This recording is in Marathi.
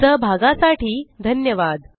सहभागासाठी धन्यवाद